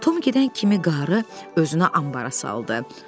Tom gedən kimi qarı özünə anbara saldı.